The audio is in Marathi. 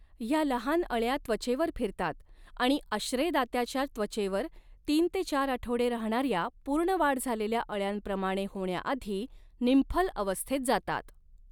ह्या लहान अळ्या त्वचेवर फिरतात आणि आश्रयदात्याच्या त्वचेवर तीन ते चार आठवडे राहणाऱ्या पूर्ण वाढ झालेल्या अळ्यांप्रमाणे होण्याआधी निम्फल अवस्थेत जातात.